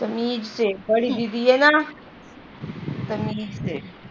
ਤਮੀਜ ਸੇ ਬੜੀ ਦੀਦੀ ਹੈ ਨਾ ਤਮੀਜ ਸੇ